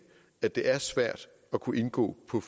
at det er svært at kunne indgå på